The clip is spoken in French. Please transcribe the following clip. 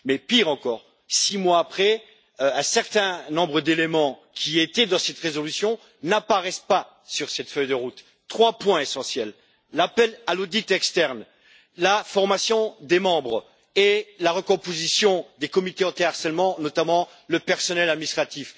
Pire encore, six mois après, un certain nombre d'éléments qui figuraient dans cette résolution n'apparaissent pas sur cette feuille de route, dont trois points essentiels l'appel à l'audit externe, la formation des membres et la recomposition des comités anti harcèlement, notamment le personnel administratif.